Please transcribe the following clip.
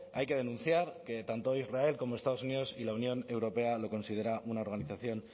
hay que denunciar que tanto israel como estados unidos y la unión europea lo considera una organización